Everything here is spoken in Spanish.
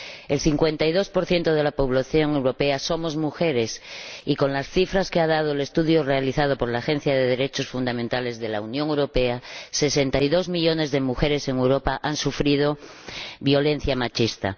El 52 de la población europea somos mujeres y, con las cifras que ha proporcionado el estudio realizado por la Agencia de Derechos Fundamentales de la Unión Europea, sesenta y dos millones de mujeres en Europa han sufrido violencia machista.